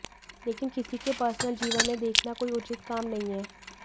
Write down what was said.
लेकिन किसी के पर्सनल जीवन में देखना कोई उचित काम नहीं है